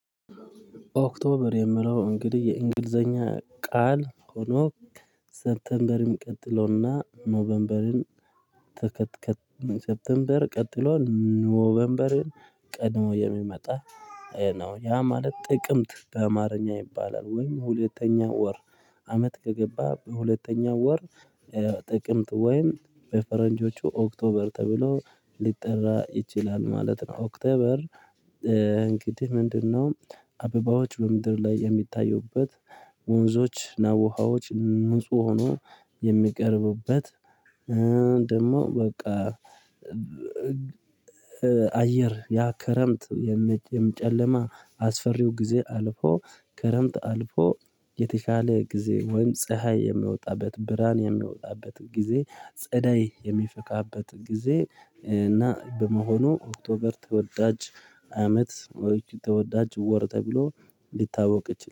ኦክቶበር የምለው እንግዲህ የእንግሊዘኛ ቃል ሆኖ ሰፕተምበርም ቀጥሎና ኖቨንበርን። ተከትከት ሰፕተንበር ቀጥሎ ኖቨንበርን ቀድሞ የሚመጣ ነው ያ ማለት ጥቅምት በአማርኛ ይባላል። ወይም ሁለተኛ ወር አመት ከገባ በሁለተኛ ወር። ጥቅምት ወይን በፈረንጆቹ ኦክቶበር ተብሎ ሊጠራ ይችላል ማለት ነው። ኦክቶበር እንግዲህ ምንድነው? አበባዎች በምድር ላይ የሚታዩበት ወንዞች ናቡሃዎች ንጹህ ሆኖ የሚቀርቡበት። ደግሞ በቃ። አየር ያ ክረምት የመጨመር ጨለማ አስፈሪው ጊዜ አልፎ ክረምት አልፎ የተሻለ ጊዜ ወይም ፀሀይ የሚወጣበት ብርሃን የሚወጣበት ጊዜ ጸዳይ የሚፈካበት ጊዜ እና በመሆኑ ኦክቶበር ተወዳጅ አመት ተወዳጅ ወር ተብሎ እንዲታወቅ ይችላል